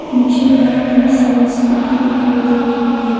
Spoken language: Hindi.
मुझे यहां बहुत सारा स्कूटी दिखाई दे रही है।